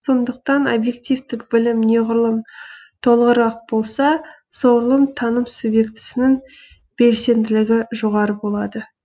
сондықтан объективтік білім неғұрлым толығырақ болса соғұрлым таным субъектісінің белсенділігі жоғары болады